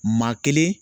Maa kelen